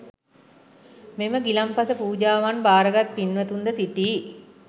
මෙම ගිලන්පස පූජාවන් භාරගත් පින්වතුන්ද සිටී.